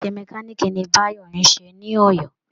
Iṣẹ́ mẹkáníìkì ni Báyò ń ṣe ní Ọ̀yọ́